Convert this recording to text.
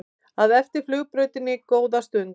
að eftir flugbrautinni góða stund.